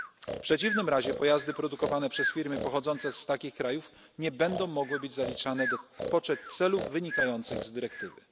W przeciwnym razie pojazdy produkowane przez firmy pochodzące z takich krajów nie będą mogły być zaliczane w poczet celów wynikających z dyrektywy.